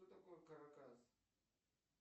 что такое каракас